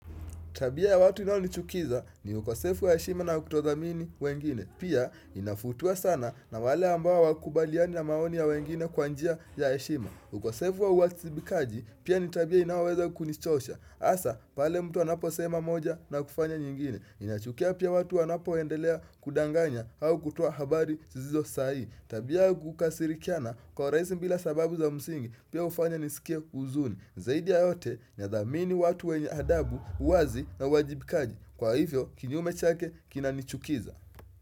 Tabia ya watu inaonichukiza ni ukosefu ya heshima na kutothamini wengine. Pia inafutua sana na wale ambao hawakubaliani na maoni ya wengine kwa njia ya heshima. Ukosefu wa uwajibikaji pia ni tabia inaoweza kunichosha. Hasa pale mtu anaposema moja na kufanya nyingine. Inachukia pia watu wanapoendelea kudanganya au kutoa habari zisizo sahihi. Tabia ya kukasirikiana kwa urahisi bila sababu za msingi pia hufanya nisikie huzuni. Zaidi ya yote ninathamini watu wenye adabu uwazi na uwajibikaji Kwa hivyo kinyume chake kinanichukiza.